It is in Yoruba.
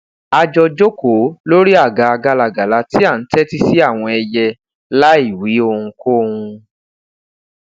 a jọ jokoo lori aga galagala ti a n tẹti si awọn ẹyẹ laiwi ohunkohun